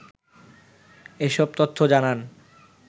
এসব তথ্য জানান